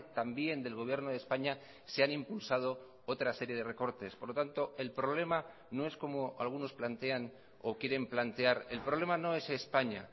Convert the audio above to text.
también del gobierno de españa se han impulsado otra serie de recortes por lo tanto el problema no es como algunos plantean o quieren plantear el problema no es españa